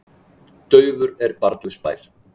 Daufur er barnlaus bær.